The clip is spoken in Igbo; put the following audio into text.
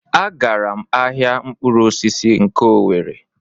A gara m ahịa mkpụrụ osisi nke Owere.